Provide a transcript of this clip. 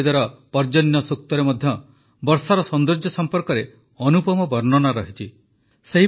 ଋଗବେଦର ପର୍ଜନ୍ୟ ସୂକ୍ତରେ ମଧ୍ୟ ବର୍ଷାର ସୌନ୍ଦର୍ଯ୍ୟ ସମ୍ପର୍କରେ ଅନୁପମ ବର୍ଣ୍ଣନା ରହିଛି